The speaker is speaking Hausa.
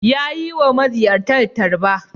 Ya yi wa maziyartan tarba.